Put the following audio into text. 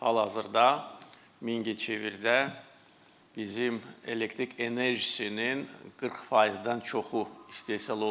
Hal-hazırda Mingəçevirdə bizim elektrik enerjisinin 40%-dən çoxu istehsal olunur.